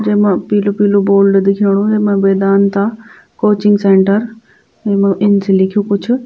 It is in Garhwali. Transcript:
जेमा पीलू पीलू बोर्ड दिखेंणु वैमा वेदांता कोचिंग सेंटर येमा इन च लिख्यूं कुछ।